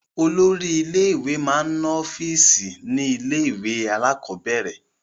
Olórí ilé-ìwé máa ń ọ́fíísì ní ilé-ìwé alákọ̀ọ́bẹ̀rẹ̀.